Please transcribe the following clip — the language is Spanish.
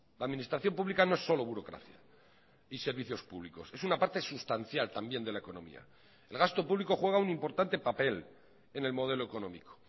la administración pública no es solo burocracia y servicios públicos es una parte sustancial también de la economía el gasto público juega un importante papel en el modelo económico